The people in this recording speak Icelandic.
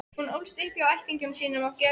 Hún ólst upp hjá ættingjum sínum á Gjögri.